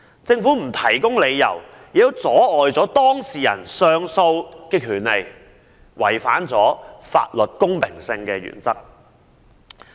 政府既不提供理由，又阻礙當事人行使上訴的權利，違反了法律公平性的原則。